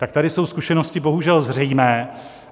Tak tady jsou zkušenosti bohužel zřejmé.